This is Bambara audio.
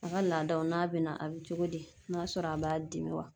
A ga laadaw n'a be na a be cogo di n'a sɔrɔ a b'a dimi wa